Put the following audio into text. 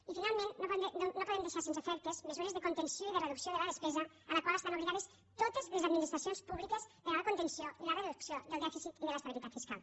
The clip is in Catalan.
i finalment no podem deixar sense efectes mesures de contenció i de reducció de la despesa a les quals estan obligades totes les administracions públiques per a la contenció i la reducció del dèficit i de l’estabilitat fiscal